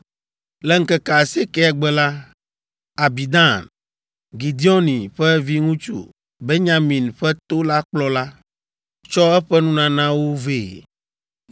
Le ŋkeke asiekɛa gbe la, Abidan, Gideoni ƒe viŋutsu, Benyamin ƒe to la kplɔla, tsɔ eƒe nunanawo vɛ.